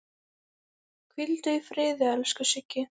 Hvíldu í friði, elsku Siggi.